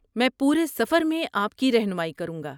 میں پورے سفر میں آپ کی رہنمائی کروں گا۔